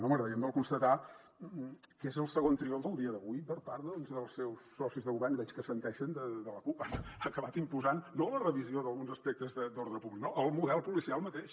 no m’agradaria em dol constatar que és el segon triomf el dia d’avui per part dels seus socis de govern i veig que assenteixen de la cup han acabat imposant no la revisió d’alguns aspectes d’ordre públic no el model policial mateix